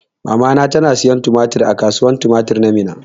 Mamana na siyan tumatir a kasuwan tumatir ta Minna.